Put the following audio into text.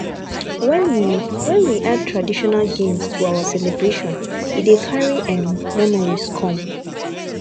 when we when we add traditional games to our celebration e dey carry um memories come